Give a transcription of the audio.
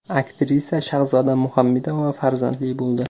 Aktrisa Shahzoda Muhammedova farzandli bo‘ldi.